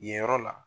Yen yɔrɔ la